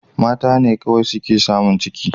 Mata ne kawai suke samun ciki